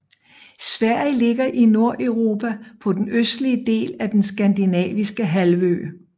Sverige ligger i Nordeuropa på den østlige del af den skandinaviske halvø